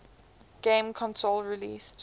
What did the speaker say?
game console released